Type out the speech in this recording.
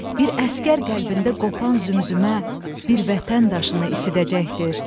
Bir əsgər qəlbində qopan zümzümə, bir vətən daşını isidəcəkdir.